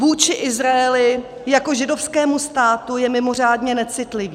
Vůči Izraeli jako židovskému státu je mimořádně necitlivý.